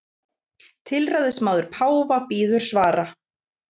Tilræðismaður páfa bíður svara